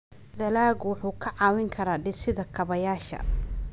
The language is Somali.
Dalaggu wuxuu kaa caawin karaa dhisidda kaabayaasha.